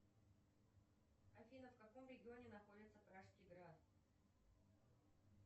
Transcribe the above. афина в каком регионе находится пражский град